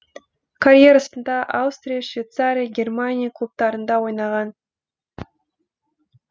карьерасында аустрия швейцария германия клубтарында ойнаған